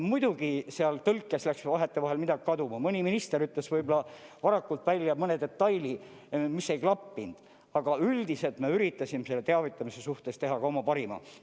Muidugi läks seal tõlkes vahetevahel midagi kaduma, mõni minister ütles võib-olla varakult välja mõne detaili, mis ei klappinud, aga üldiselt me üritasime selle teavitamise suhtes teha ka oma parima.